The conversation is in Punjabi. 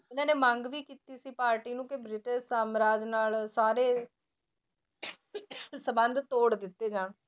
ਇਹਨਾਂ ਨੇ ਮੰਗ ਵੀ ਕੀਤੀ ਸੀ ਪਾਰਟੀ ਨੂੰ ਕਿ ਬ੍ਰਿਟਿਸ਼ ਸਾਮਰਾਜ ਨਾਲ ਸਾਰੇ ਸੰਬੰਧ ਤੋੜ ਦਿੱਤੇ ਜਾਣ।